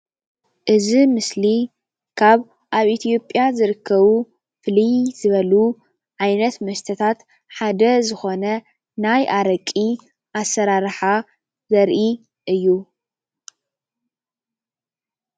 ኣብ ኢ/ያ ዝርከብ ኣሰራርሓ ኣረቂ ዳጉሻ የርኢ።